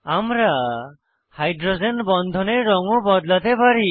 আমরা হাইড্রোজেন বন্ধনের রঙ ও বদলাতে পারি